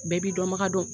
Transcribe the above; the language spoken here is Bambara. Bɛɛ b'i dɔnbaga dɔn